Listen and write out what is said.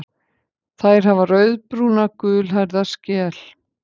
Þær hafa rauðbrúna gulhærða skel.